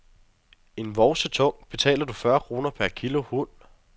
Er vovse tung, betaler du fyrre kroner per kilo hund.